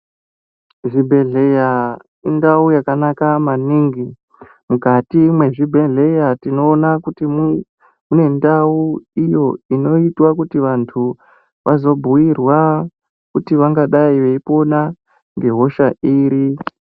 Zvibhedhlera indau yakanaka maningi, mukati mwezvibhedhlera tinoona kuti mune ndau iyo inoitwa kuti vantu vazobhuirwa kuti vangadai veipona ngehosha iri